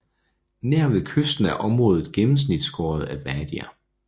Nær ved kysten er området gennemskåret af wadier